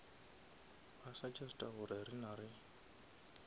ba suggesta gore rena re